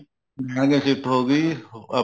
ਨਾਲੇ ਸਿਫਤ ਹੋ ਗਈ ਆਪਣੇ